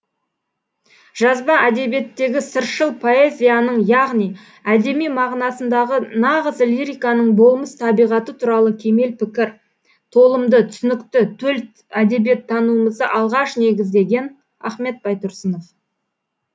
жазба әдебиеттегі сыршыл поэзияның яғни әдеби мағынасындағы нағыз лириканың болмыс табиғаты туралы кемел пікір толымды түсінікті төл әдебиеттануымызда алғаш негіздеген ахмет байтұрсынов